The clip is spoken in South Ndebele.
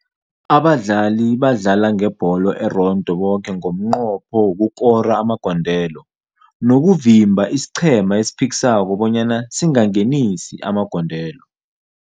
Abadlali badlala nebholo erondo boke ngomnqopho wokukora amagondelo nokuvimba isiqhema esiphikisako bonyana singangenisi amagondelo.